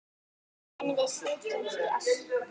En við sitjum hér